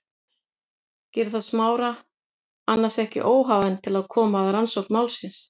Gerir það Smára annars ekki óhæfan til að koma að rannsókn málsins?